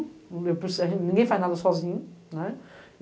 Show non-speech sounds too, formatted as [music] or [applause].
[unintelligible] Ninguém faz nada sozinho, né.